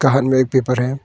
उसका हाथ में एक पेपर है।